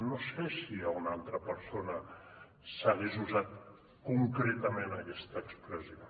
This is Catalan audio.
no sé si a una altra persona s’hagués usat concretament aquesta expressió